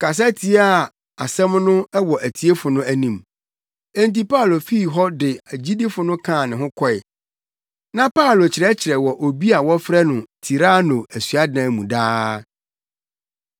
kasa tiaa asɛm no wɔ atiefo no anim. Enti Paulo fii hɔ de agyidifo no kaa ne ho kɔe. Na Paulo kyerɛkyerɛ wɔ obi a wɔfrɛ no Tirano asuadan mu daa.